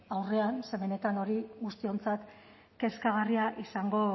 aurrean ze benetan hori guztiontzat kezkagarria izango